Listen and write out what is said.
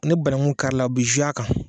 Ne banangu kari la a bi ze a kan